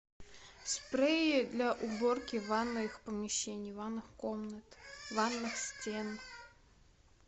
спрей для уборки ванных помещений ванных комнат ванных стен